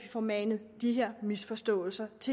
får manet de her misforståelser